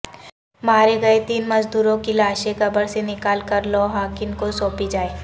مارے گئے تین مزدوروں کی لاشیں قبر سے نکال کر لواحقین کوسونپی جائے